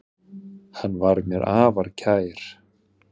Hann var mér afar kær.